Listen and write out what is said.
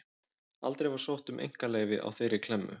Aldrei var sótt um einkaleyfi á þeirri klemmu.